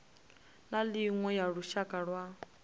na iṅwe ya lushaka lwa